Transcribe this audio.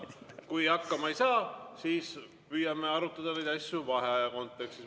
Kui hakkama ei saa, siis püüame arutada neid asju vaheaja kontekstis.